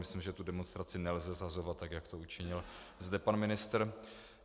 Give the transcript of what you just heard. Myslím, že tu demonstraci nelze shazovat tak, jak to učinil zde pan ministr.